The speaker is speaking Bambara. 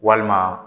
Walima